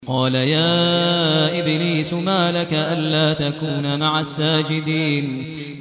قَالَ يَا إِبْلِيسُ مَا لَكَ أَلَّا تَكُونَ مَعَ السَّاجِدِينَ